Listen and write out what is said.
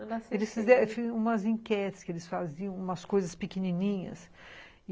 Eles fizeram umas enquetes que eles faziam, umas coisas pequenininhas.